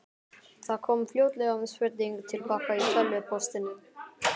Það kom fljótlega spurning til baka í tölvupóstinum.